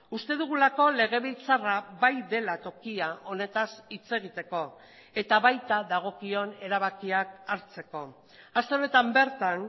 uste dugulako legebiltzarra bai dela tokia honetaz hitz egiteko eta baita dagokion erabakiak hartzeko aste honetan bertan